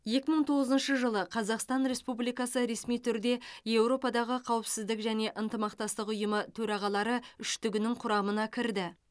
екі мың тоғызыншы жылы қазақстан республикасы ресми түрде еуропадағы қауіпсіздік және ынтымақтастық ұйымы төрағалары үштігінің құрамына кірді